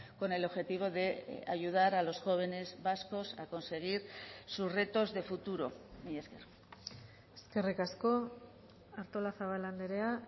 con el objetivo de ayudar a los jóvenes vascos a conseguir sus retos de futuro mila esker eskerrik asko artolazabal andrea